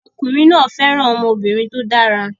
Ọkùnrin náà fẹ́ràn ọmọbìnrin tó dára